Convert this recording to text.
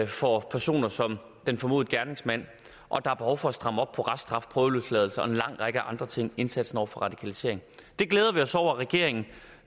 for personer som den formodede gerningsmand og at der er behov for at stramme op på reststraf prøveløsladelse og en lang række andre ting indsatsen over for radikalisering det glæder vi os over at regeringen